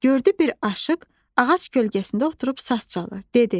Gördü bir aşıq ağac kölgəsində oturub saz çalır, dedi: